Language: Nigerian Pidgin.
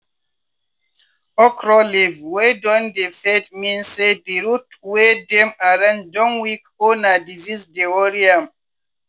okro leave wey don dey fade mean say di root wey dem arrange don weak or na disease dey worry am.